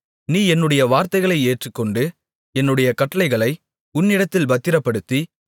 நீ என்னுடைய வார்த்தைகளை ஏற்றுக்கொண்டு என்னுடைய கட்டளைகளை உன்னிடத்தில் பத்திரப்படுத்தி